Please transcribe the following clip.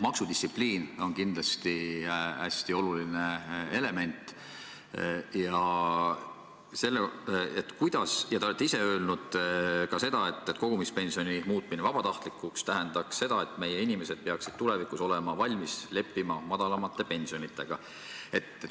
Maksudistsipliin on kindlasti hästi oluline ja te olete ise öelnud ka seda, et kogumispensioni muutmine vabatahtlikuks tähendaks seda, et meie inimesed peaksid tulevikus olema valmis leppima madalamate pensionitega.